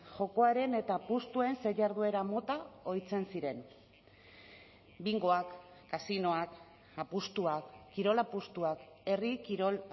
jokoaren eta apustuen ze jarduera mota ohitzen ziren bingoak kasinoak apustuak kirol apustuak herri kirol